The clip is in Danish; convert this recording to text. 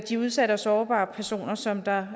de udsatte og sårbare personer som der